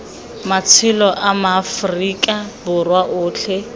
matshelo a maaforika borwa otlhe